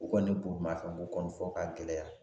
U kɔni ye borimafɛn ko kɔni fɔ ka gɛlɛya